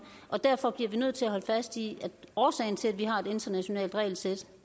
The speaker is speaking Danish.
og derfor bliver vi nødt til at holde fast i at årsagen til at vi har et internationalt regelsæt